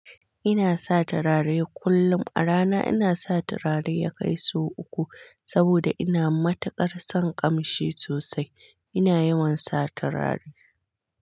Ina sa turare kullum. A rana ina sa turare ya kai su uku saboda ina matukar son ƙamshi sosai. Ina yawan sa turare.